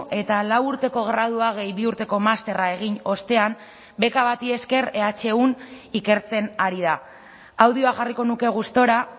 eta lau urteko gradua gehi bi urteko masterra egin ostean beka bati esker ehun ikertzen ari da audioa jarriko nuke gustura